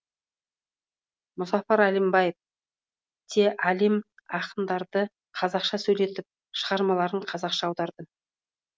мұзафар әлімбаев те әлем ақындарды қазақша сөйлетіп шығармаларын қазақша аударды